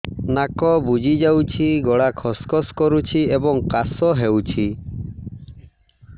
ନାକ ବୁଜି ଯାଉଛି ଗଳା ଖସ ଖସ କରୁଛି ଏବଂ କାଶ ହେଉଛି